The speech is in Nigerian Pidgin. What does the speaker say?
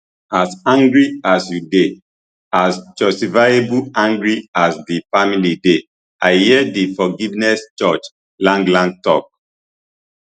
as angry as you dey as justifiably angry as di family dey i hear di forgiveness judge lang lang tok